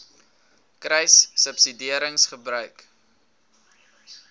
kruissubsidiëringgebruik